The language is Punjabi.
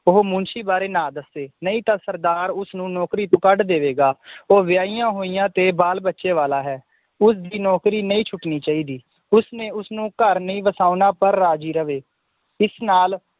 ਉਹ ਮੁਨਸ਼ੀ ਬਾਰੇ ਨਾ ਦੱਸੇ ਨਹੀਂ ਤਾਂ ਸਰਦਾਰ ਉਸਨੂੰ ਨੌਕਰੀ ਤੋਂ ਕੱਢ ਦੇਵੇਗਾ ਉਹ ਵਯਾਯੀਆਂ ਹੋਈਆਂ ਤੇ ਬਾਲ ਬੱਚੇ ਵਾਲਾ ਹੈ ਉਸਦੀ ਨੌਕਰੀ ਨਈ ਛੁਟਨੀ ਚਾਹੀਦੀ ਉਸਨੇ ਉਸਨੂੰ ਘਰ ਨਈ ਵਸਾਉਣਾ ਪਰ ਜਾਰੀ ਰਵੇ ਇਸ ਨਾਲ